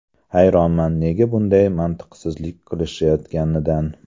Hayronman nega bunday mantiqsizlik qilishayotganidan”.